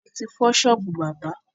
Olè ti fọ ṣọ́ọ́bù bábà.